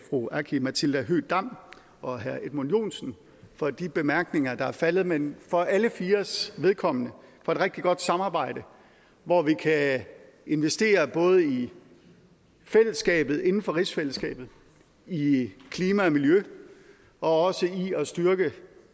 fru aki matilda høegh dam og herre edmund joensen for de bemærkninger der er faldet men for alle fires vedkommende for et rigtig godt samarbejde hvor vi kan investere både i fællesskabet inden for rigsfællesskabet i klima og miljø og også i at styrke